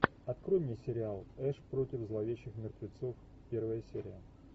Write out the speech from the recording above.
открой мне сериал эш против зловещих мертвецов первая серия